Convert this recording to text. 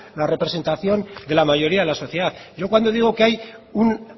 la representación de la mayoría de la sociedad yo cuando digo que hay una